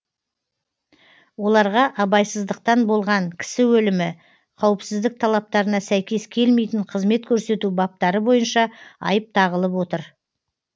оларға абайсыздықтан болған кісі өлімі қауіпсіздік талаптарына сәйкес келмейтін қызмет көрсету баптары бойынша айып тағылып отыр